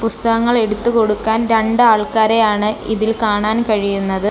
പുസ്തകങ്ങൾ എടുത്തു കൊടുക്കാൻ രണ്ട് ആൾക്കാരെയാണ് ഇതിൽ കാണാൻ കഴിയുന്നത്.